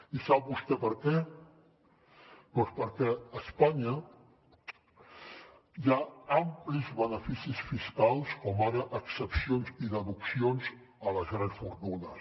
i sap vostè per què doncs perquè a espanya hi ha amplis beneficis fiscals com ara excepcions i deduccions a les grans fortunes